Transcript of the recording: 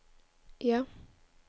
ja